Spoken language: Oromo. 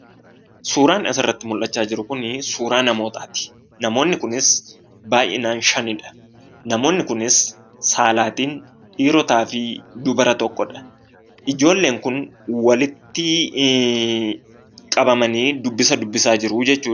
Suuraan asirratti mul'achaa jiru kunii suuraa namootaati. Namonni kunis baay'inaan shanidha. Namoonni kunis saalaatiin dhiirotaa fi dubara tokkodha. Ijoolleen kun walittii qabamanii dubbisa dubbisaa jiruu jechuudha.